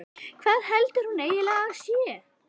Hvað heldur hún eiginlega að hann sé?